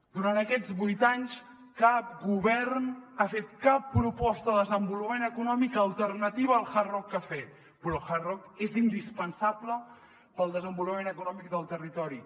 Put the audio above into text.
durant aquests vuit anys cap govern ha fet cap proposta de desenvolupament econòmic alternativa al hard rock cafe però el hard rock és indispensable per al desenvolupament econòmic del territori